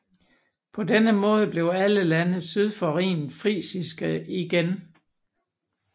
På denne måde blev alle lande syd for Rhinen frisiske igen